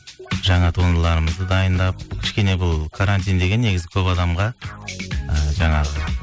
жаңа туындыларымызды дайындап кішкене бұл карантин деген негізі көп адамға ы жаңағы